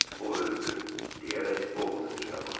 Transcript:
O öldü, deyərək Ovodun üzünə baxdı.